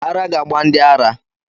Ara ga gba ndi ara